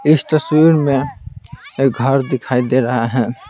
इस तस्वीर में एक घर दिखाई दे रहा है।